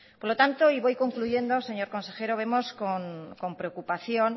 por lo tanto y voy concluyendo señor consejero vemos con preocupación